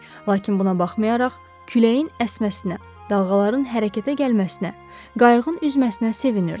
Lakin buna baxmayaraq, küləyin əsməsinə, dalğaların hərəkətə gəlməsinə, qayığın üzməsinə sevinirdi.